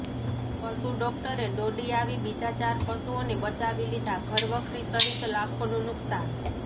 પશુ ડોક્ટરે દોડી આવી બીજા ચાર પશુઓનેે બચાવી લીધાં ઃ ઘરવખરી સહિત લાખોનું નુકસાન